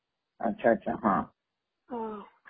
अच्छा अच्छा हा